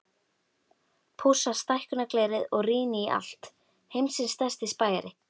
Pússa stækkunarglerið og rýni í allt, heimsins stærsti spæjari.